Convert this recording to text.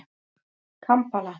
Kampala